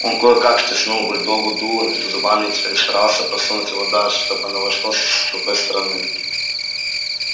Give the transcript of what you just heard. он кое как втиснул бульдогу дуло между зубами и теперь старался просунуть его дальше чтобы оно вошло с другой стороны